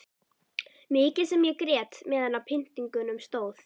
Mikið sem ég grét meðan á pyntingunum stóð.